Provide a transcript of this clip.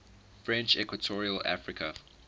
french equatorial africa